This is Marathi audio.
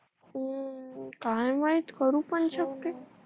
अं काय माहित करू पण शकते